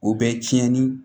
O bɛ tiɲɛni